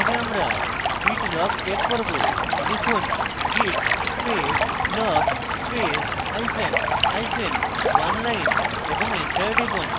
প্রথমে আমরা git log check করব লিখুন: git space log space hyphen hyphen oneline এবং enter টিপুন